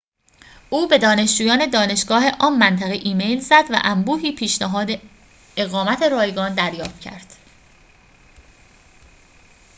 او به دانشجویان دانشگاه آن منطقه ایمیل زد و انبوهی پیشنهاد اقامت رایگان دریافت کرد